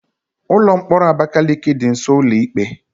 Ụlọ mkpọrọ Abakaliki dị nsọ ụlọ ikpe